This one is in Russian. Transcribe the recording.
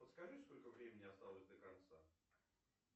подскажи сколько времени осталось до конца